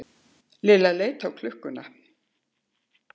Lilla leit á klukkuna.